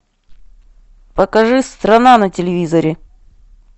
покажи страна на телевизоре